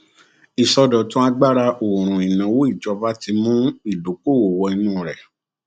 ìsọdọtun agbára òòrùn ìnáwó ìjọba ti mú ìdókòwó wọ inú rẹ